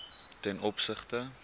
ten opsigte